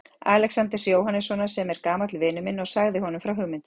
Alexanders Jóhannessonar, sem er gamall vinur minn og sagði honum frá hugmyndinni.